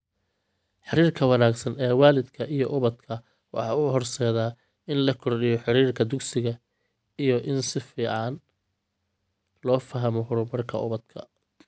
Xiriirka wanaagsan ee waalidka iyo ubadka waxa uu horseedaa in la kordhiyo xiriirka dugsiga iyo in si fiican loo fahmo horumarka ubadka.